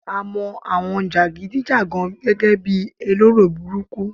A mo àwọn jagidi jagan gẹ́gẹ́ bi elero burúkú